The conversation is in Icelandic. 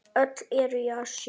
Öll eru í Asíu.